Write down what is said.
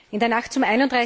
In der Nacht zum